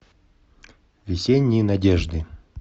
весенние надежды